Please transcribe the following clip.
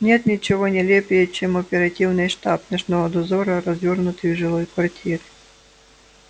нет ничего нелепее чем оперативный штаб ночного дозора развёрнутый в жилой квартире